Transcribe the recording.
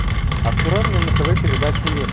открой мне на тв передачу мир